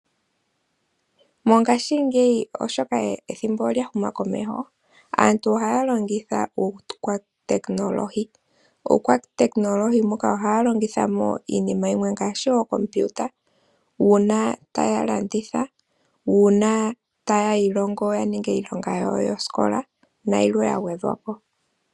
Mongashingeyi oshoka ethimbo olya huma komeho. Aantu ohaya longitha uukwatekinolohi, muukwatekinolohi ohaya longitha iinima ngashi ookompiuta uuna taya landitha, uuna taya iilongo ya ninge iilonga yawo yoskola na yilwe ya gwedhwapo.